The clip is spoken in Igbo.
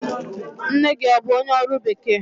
Nne gị ọ bụ onye ọrụ bekee?